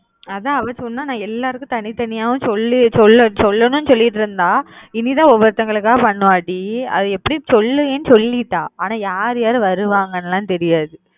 அதான் அவ சொன்னா நான் எல்லாருக்கும் தனி தனியா சொல்லி சொல்லி சொல்லணும் சொல்லிட்டு இருந்தா இன்னைக்கு தான் ஒவொருத்தவங்களுக்கா பண்ணுவா டி அது எப்பிடியும்ஸ் சொல்லுறேன் சொல்லிட்டா ஆனா யாரு யாரு வருவங்கன்னு லாம் தெரியாது